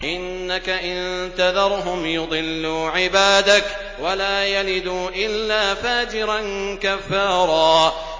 إِنَّكَ إِن تَذَرْهُمْ يُضِلُّوا عِبَادَكَ وَلَا يَلِدُوا إِلَّا فَاجِرًا كَفَّارًا